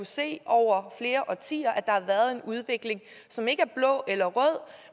se over flere årtier at der har været en udvikling som ikke er blå eller rød